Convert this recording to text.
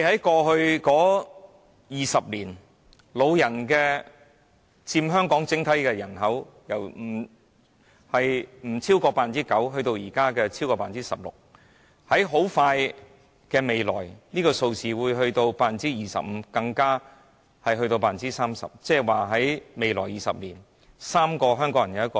過去20年，長者佔香港整體人口由低於 9% 上升至現時超過 16%， 而這數字在不久的將來更會上升至 25% 甚至 30%。